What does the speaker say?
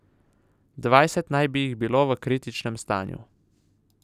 Dvajset naj bi jih bilo v kritičnem stanju.